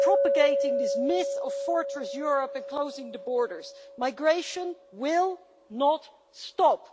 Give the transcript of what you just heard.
propagating this myth of fortress Europe and closing the borders migration will not stop.